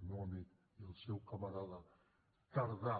el meu amic i el seu camarada tardà